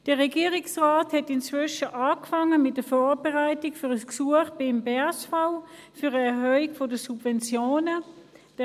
Inzwischen hat der Regierungsrat mit der Vorbereitung eines Gesuchs an das BSV um eine Erhöhung der Subventionen begonnen.